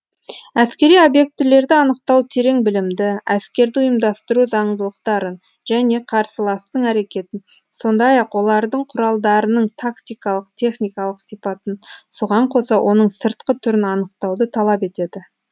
әскери обьектілерді анықтау терең білімді әскерді ұйымдастыру зандылықтарын және қарсыластың әрекетін сондай ақ олардың құралдарының тактикалық техникалық сипатын соған қоса оның сыртқы түрін анықтауды талап етеді